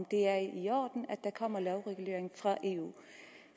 det er i orden at der kommer en lovregulering fra eu